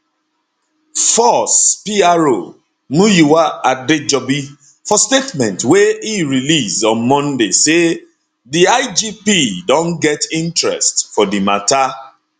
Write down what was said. force pro muyiwa adejobi for statement wey e release on monday say di igp don get interest for di mata